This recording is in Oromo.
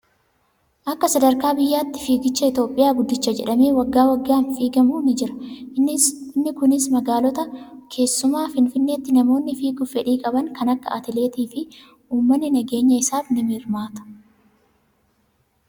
Akka sadarkaa biyyaatti fiigicha Itoophiyaa guddicha jedhamee waggaa waggaan kan fiigamu ni jira. Inni kunis magaalota keessumaa finfinneetti namoonni fiiguuf fedhii qaban kan akka atileetii fi uummanni nageenya isaaf ni hirmaata.